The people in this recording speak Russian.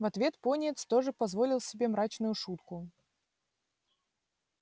в ответ пониетс тоже позволил себе мрачную шутку